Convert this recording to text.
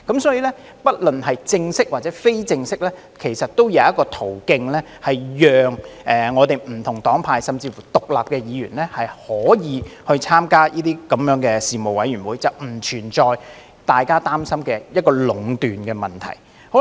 所以，不論是正式或非正式的途徑，其實我們都是有的，讓不同黨派甚至乎獨立的議員可以參加事務委員會，並不存在大家擔心的壟斷問題。